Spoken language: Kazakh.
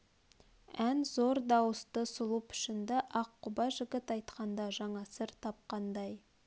ән зор дауысты сұлу пішінді ақ құба жігіт айтқанда жаңа сыр тапқандай